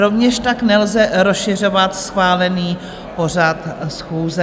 Rovněž tak nelze rozšiřovat schválený pořad schůze.